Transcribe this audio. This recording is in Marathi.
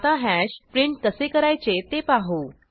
आता हॅश प्रिंट कसे करायचे ते पाहू